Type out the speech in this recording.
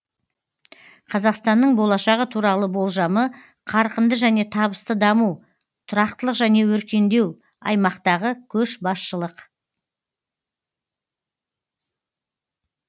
қазақстанның болашағы туралы болжамы қарқынды және табысты даму тұрақтылық және өркендеу аймақтағы көшбасшылық